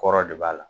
Kɔrɔ de b'a la